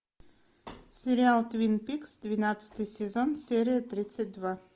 сериал твин пикс двенадцатый сезон серия тридцать два